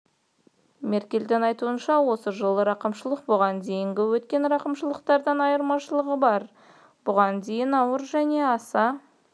меркельдің айтуынша осы жолғы рақымшылықтың бұған дейін өткен рақымшылықтардан айырмашылығы бар бұған дейін ауыр және аса